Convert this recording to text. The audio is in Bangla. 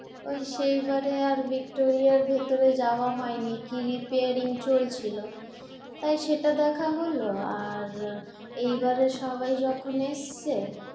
ওই সেবারে আর ভিক্টোরিয়ার ভিতরে যাওয়া হয় নি। কি রিপেয়ারিং চলছিল আর সেটা দেখা হল, আর এবারে সবাই যখন এসছে,